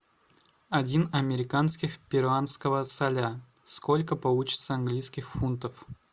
один американских перуанского соля сколько получится английских фунтов